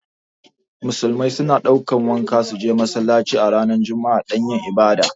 Musulmai su na ɗaukan wanka su je masallaci a ranar juma'a dan yin ibada